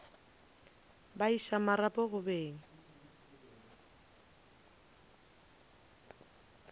ba iša marapo go beng